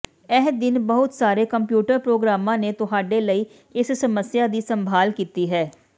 ਇਹ ਦਿਨ ਬਹੁਤ ਸਾਰੇ ਕੰਪਿਊਟਰ ਪ੍ਰੋਗਰਾਮਾਂ ਨੇ ਤੁਹਾਡੇ ਲਈ ਇਸ ਸਮੱਸਿਆ ਦੀ ਸੰਭਾਲ ਕੀਤੀ ਹੈ